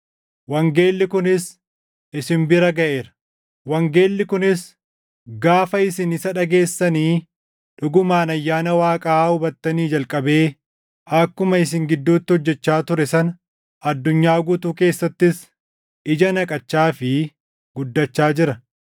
wangeelli kunis isin bira gaʼeera. Wangeelli kunis gaafa isin isa dhageessanii dhugumaan ayyaana Waaqaa hubattanii jalqabee akkuma isin gidduutti hojjechaa ture sana addunyaa guutuu keessattis ija naqachaa fi guddachaa jira.